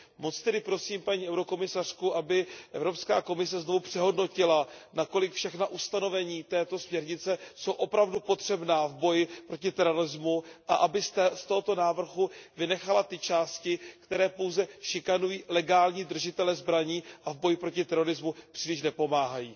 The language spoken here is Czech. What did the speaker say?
Moc tedy prosím paní komisařku, aby Evropská komise znovu přehodnotila, na kolik jsou všechna ustanovení této směrnice opravdu potřebná v boji proti terorismu, a aby z tohoto návrhu vynechala ty části, které pouze šikanují legální držitele zbraní a v boji proti terorismu příliš nepomáhají.